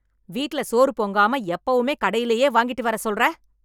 வீட்ல சோறு பொங்காம எப்பவுமே கடையிலேயே வாங்கிட்டு வர சொல்ற?